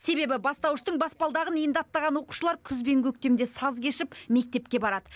себебі бастауыштың баспалдағын енді аттаған оқушылар күз бен көктемде саз кешіп мектепке барады